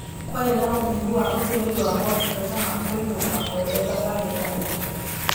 Kwarĩ na ũnyihu wa ũtũmĩri wa motungata ma kũinũka ourĩa thabarĩ ĩranyiha